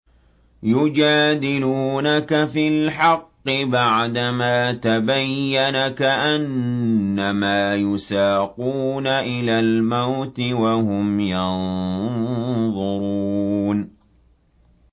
يُجَادِلُونَكَ فِي الْحَقِّ بَعْدَمَا تَبَيَّنَ كَأَنَّمَا يُسَاقُونَ إِلَى الْمَوْتِ وَهُمْ يَنظُرُونَ